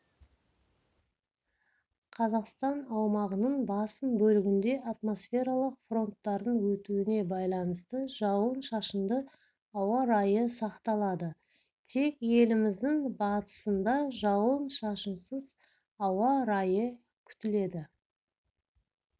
қазақстан аумағының басым бөлігінде атмосфералық фронттардың өтуіне байланысты жауын-шашынды ауа райы сақталады тек еліміздің батысындажауын-шашынсызауа райыкүтіледі